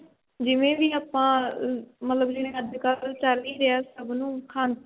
ਜਿਵੇਂ ਵੀ ਆਪਾਂ ਮਤਲਬ ਜਿਵੇਂ ਅੱਜਕਲ ਚੱਲ ਹੀ ਰਿਹਾ ਸਭ ਨੂੰ ਖਾਂਸੀ